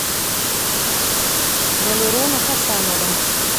валерона хасанова